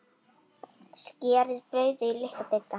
Skerið brauðið í litla bita.